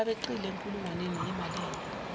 abeqile enkulungwaneni yimalini